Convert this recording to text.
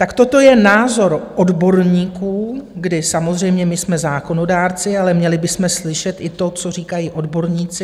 Tak toto je názor odborníků, kdy samozřejmě my jsme zákonodárci, ale měli bychom slyšet i to, co říkají odborníci.